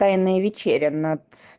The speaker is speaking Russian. тайная вечеря над